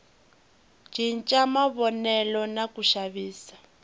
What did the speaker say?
cinca mavonelo na ku xavisa